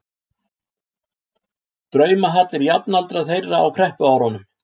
draumahallir jafnaldra þeirra á kreppuárunum.